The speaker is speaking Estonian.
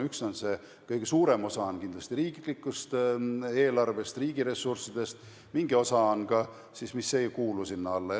Üks on see, et kõige suurem osa on kindlasti riiklikust eelarvest, riigi ressurssidest, ja on ka mingi osa, mis ei kuulu sinna alla.